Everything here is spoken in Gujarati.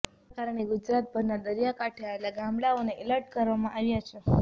જેના કારણે ગુજરાતભરના દરિયાકાંઠે આવેલા ગામડાંઓને એલર્ટ કરવામાં આવ્યા છે